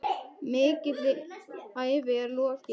Mikilli ævi er lokið.